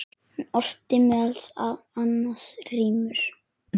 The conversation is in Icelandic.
Hún orti meðal annars rímur.